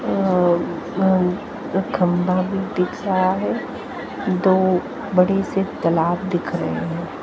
अ अ खंभा भी दिख रहा है दो बड़े से तलाब दिख रहे हैं।